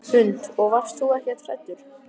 Hrund: Og varst þú ekkert hræddur?